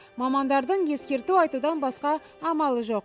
мамандардың ескерту айтудан басқа амалы жоқ